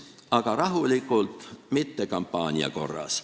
Aga rahulikult, mitte kampaania korras.